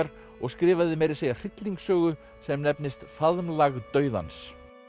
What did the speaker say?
og skrifaði meira að segja hryllingssögu sem nefnist faðmlag dauðans